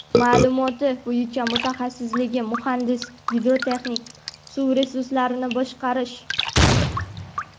Ma’lumoti bo‘yicha mutaxassisligi muhandis-gidrotexnik, suv resurslarini boshqarish.